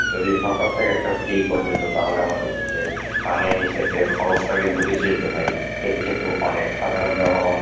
যদি সরকার থেকে একটা free করে দিত তাহলে আমাদের পানি সেচের খরচটা কিন্তু বেঁচে যেত ভাই. এটা কিন্তু অনেক সাধারণ জনগণের